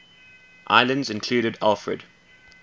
islands included alfred